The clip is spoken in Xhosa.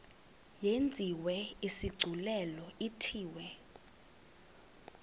yenziwe isigculelo ithiwe